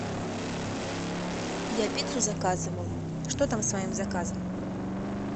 я пиццу заказывала что там с моим заказом